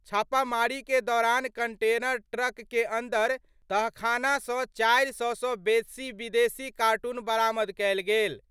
छापामारी के दौरान कंटेनर ट्रक के अंदर तहखाना स 400 स बेसी विदेशी कार्टून बरामद कयल गेल।